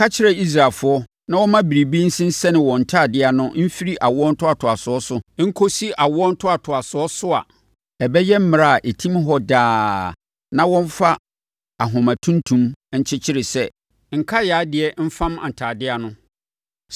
“Ka kyerɛ Israelfoɔ na wɔmma biribi nsensɛne wɔn ntadeɛ ano mfiri awoɔ ntoatoasoɔ so nkɔsi awoɔ ntoatoasoɔ so a ɛbɛyɛ mmara a ɛtim hɔ daa na wɔmfa ahoma tuntum nkyekyere sɛ nkaeɛ adeɛ mfam ntadeɛ ano.